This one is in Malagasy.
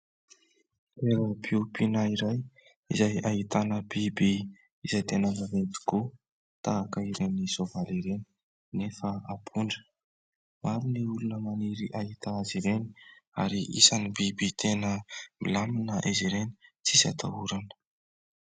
Toeram-piompiana iray izay ahitana biby izay tena vaventy tokoa tahaka ireny soavaly ireny nefa ampondra. Maro ny olona maniry ahita azy ireny ary isany biby tena milamina izy ireny tsy misy atahorana.